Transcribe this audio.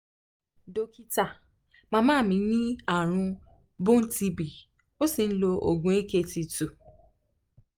dókítà màmá mi ní àrùn bone tb ó sì ń lo oògùn akt two